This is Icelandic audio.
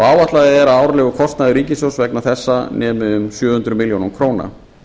áætlað er að árlegur kostnaður ríkissjóðs vegna þessa nemi um sjö hundruð milljóna króna